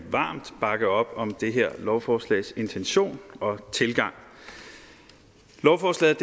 varmt bakke op om det her lovforslags intention og tilgang lovforslaget